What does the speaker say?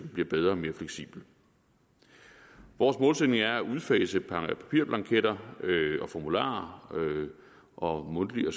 bliver bedre og mere fleksibel vores målsætning er at udfase papirblanketter og formularer og mundtlige og